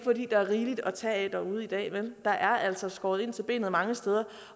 er rigeligt at tage af derude i dag der er altså skåret ind til benet mange steder